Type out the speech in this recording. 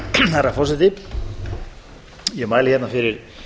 herra forseti ég mæli hérna fyrir